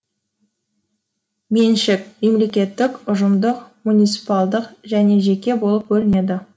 меншік мемлекеттік ұжымдық муниципалдық және жеке болып бөлінеді